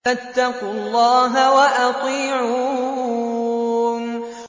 فَاتَّقُوا اللَّهَ وَأَطِيعُونِ